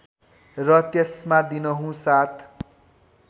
र त्यसमा दिनहुँ सात